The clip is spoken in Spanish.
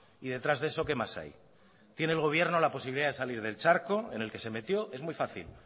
y detrás de eso que mas hay tiene el gobierno la posibilidad de salir del charco en el que se metió es muy fácil